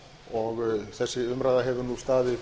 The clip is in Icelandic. og þessi umræða hefur nú staðið